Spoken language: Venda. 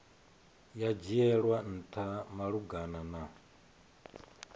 ya dzhielwa ntha malugana na